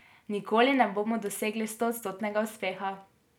Nikoli ne bomo dosegli stoodstotnega uspeha.